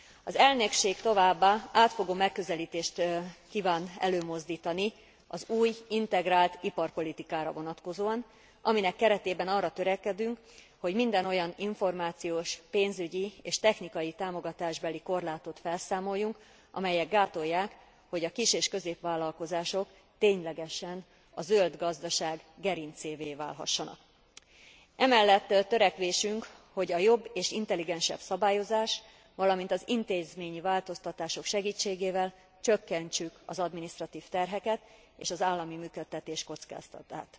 Az elnökség továbbá átfogó megközelítést kíván előmozdítani az új, integrált iparpolitikára vonatkozóan, aminek keretében arra törekedünk, hogy minden olyan információs, pénzügyi és technikai támogatásbeli korlátot felszámoljunk, amelyek gátolják, hogy a kis és középvállalkozások ténylegesen a zöld gazdaság gerincévé válhassanak. Emellett törekvésünk, hogy a jobb és intelligensebb szabályozás, valamint az intézményi változtatások segítségével csökkentsük az adminisztratív terheket és az állami működtetés kockázatát.